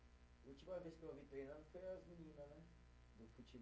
A última vez que eu vi treinando foi as menina, né? Do